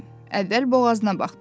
Əvvəl boğazına baxdı.